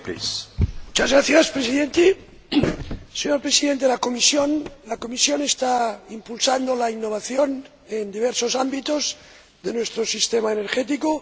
Señor Presidente, señor Presidente de la Comisión, la Comisión está impulsando la innovación en diversos ámbitos de nuestro sistema energético.